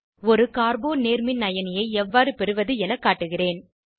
ஒரு கார்போ நேர்மின்அயனி ஐ எவ்வாறு பெறுவது என காட்டுகிறேன்